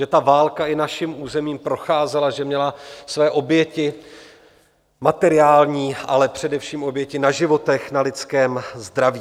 Že ta válka i naším územím procházela, že měla své oběti materiální, ale především oběti na životech, na lidském zdraví.